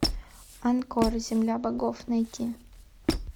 анкор земля богов найти